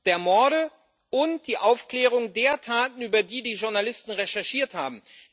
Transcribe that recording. der Morde und die Aufklärung der Taten, über die die Journalisten recherchiert haben.